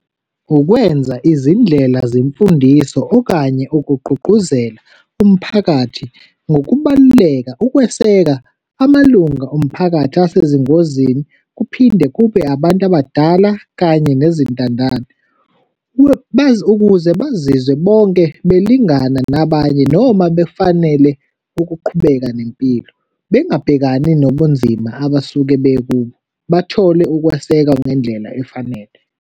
Ukwenza izindlela zemfundiso okanye ukugqugquzela umphakathi ngokubaluleka ukweseka amalunga omphakathi asezingozini, kuphinde kube abantu abadala kanye nezintandane. Ukuze bazizwe bonke belingana nabanye, noma befanele ukuqhubeka nempilo, bengabhekani nobunzima abasuke bekubo, bathole ukwesekwa ngendlela efanele.